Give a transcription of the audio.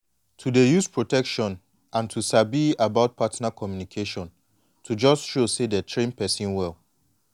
to dey use protection and to even sabi about partner communication to just show say dey train person well